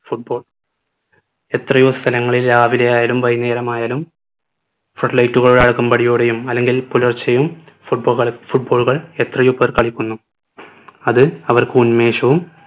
football എത്രെയോ സ്ഥലങ്ങളിൽ രാവിലെ ആയാലും വൈന്നേരം ആയാലും full light കളുടെ അകംമ്പടിയോടെയും അല്ലെങ്കിൽ പുലർച്ചെയും football കളി football കൾ എത്രയോ പേർ കളിക്കുന്നു അത് അവർക്ക് ഉന്മേഷവും